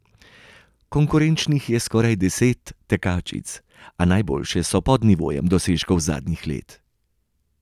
Konkurenčnih je skoraj deset tekačic, a najboljše so pod nivojem dosežkov zadnjih let.